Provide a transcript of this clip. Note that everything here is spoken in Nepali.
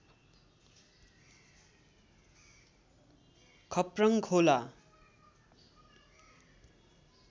खप्रङ खोला